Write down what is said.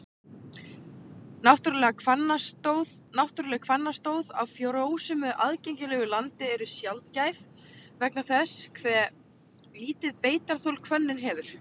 Náttúruleg hvannstóð á frjósömu, aðgengilegu landi eru sjaldgæf vegna þess hve lítið beitarþol hvönnin hefur.